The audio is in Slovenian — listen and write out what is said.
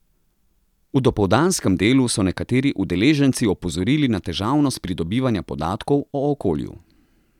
V dopoldanskem delu so nekateri udeleženci opozorili na težavnost pridobivanja podatkov o okolju.